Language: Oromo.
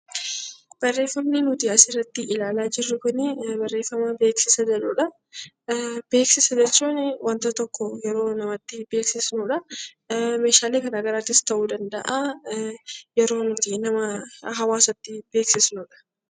Barreeffamni asirratti ilaalaa jirru kun barreeffama beeksisaati. Beeksisa jechuun wanta tokko yeroo namatti beeksisnudha. Meeshaalee gargaraas ta'uu danda'a yeroo namatti beeksisnudha.